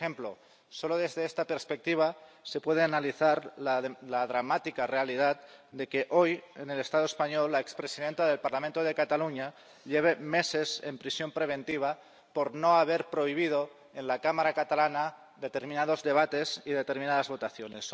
Por ejemplo, solo desde esta perspectiva se puede analizar la dramática realidad de que hoy en el Estado español la expresidenta del Parlamento de Cataluña lleve meses en prisión preventiva por no haber prohibido en la Cámara catalana determinados debates y determinadas votaciones.